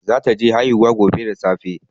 Zata je haihuwa gobe da safe